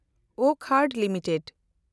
Wockhardt limited